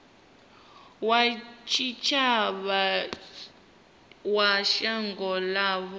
wa tshitshavha wa shango ḽavho